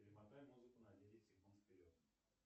перемотай музыку на десять секунд вперед